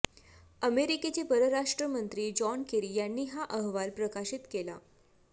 अमेरिकेचे परराष्ट्रमंत्री John Kerry यांनी हा अहवाल प्रकाशित केला